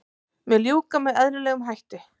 Mun ljúka með eðlilegum hætti